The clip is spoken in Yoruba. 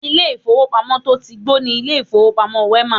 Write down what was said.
Ilé ìfowópamọ́ to tí gbó ni ilé ìfowópamọ́ Wema.